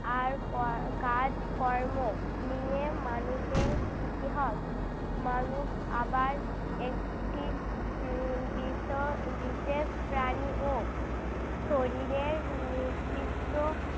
আর কর~ কাজকর্ম নিয়ে মানুষের ইতিহাস। মানুষ আবার একটি উহ বিশ~ বিশেষ প্রাণী ও শরীরের নির্দিষরো